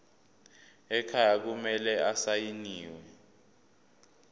ekhaya kumele asayiniwe